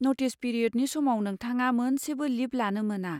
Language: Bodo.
नटिस पिरिय'डनि समाव, नोंथङा मोनसेबो लिब लानो मोना।